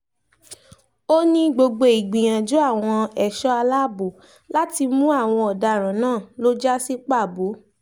ó ní gbogbo ìgbìyànjú àwọn ẹ̀ṣọ́ aláàbọ̀ láti mú àwọn ọ̀daràn náà lọ já sí pàbó